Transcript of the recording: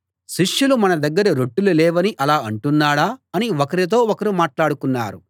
శిష్యులు మన దగ్గర రొట్టెలు లేవని అలా అంటున్నాడా అని ఒకరితో ఒకరు మాట్లాడుకున్నారు